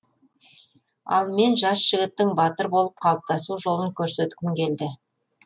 ал мен жас жігіттің батыр болып қалыптасу жолын көрсеткім келді